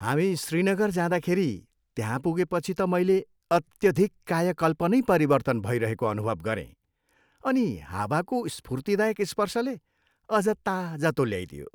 हामी श्रीनगर जाँदाखेरि त्यहाँ पुगेपछि त मैले अत्याधिक कायाकल्प नै परिवर्तन भइरहेको अनुभव गरेँ अनि हावाको स्फूर्तिदायक स्पर्शले अझ ताजा तुल्याइदियो।